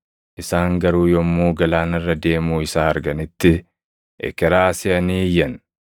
isaan garuu yommuu galaana irra deemuu isaa arganitti ekeraa seʼanii iyyan;